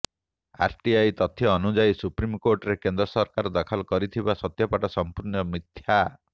RTI ତଥ୍ୟ ଅନୁଯାୟୀ ସୁପ୍ରିମକୋର୍ଟରେ କେନ୍ଦ୍ର ସରକାର ଦାଖଲ କରିଥିବା ସତ୍ୟପାଠ ସମ୍ପୂର୍ଣ୍ଣ ମିଥ୍ୟା